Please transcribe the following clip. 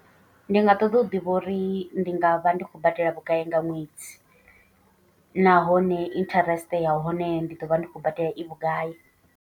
Ndi nga ṱoḓa u ḓivha uri ndi nga vha ndi khou badela vhugai nga ṅwedzi. Nahone interest ya hone ndi ḓo vha ndi khou badela i vhugai.